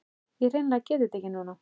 Ég hreinlega get þetta ekki núna.